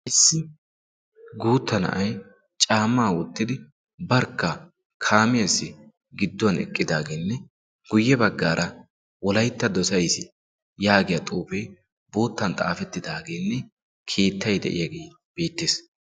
Issi guutta na7ai caamaa woottidi barkka kaamiyaassi gidduwan eqqidaageenne guyye baggaara wolaytta dosays yaagiya xoofee boottan xaafettidaageenne keettai de'iyaagee beettees.